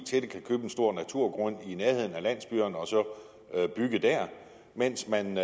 stor naturgrund i nærheden af landsbyerne og så bygge der mens man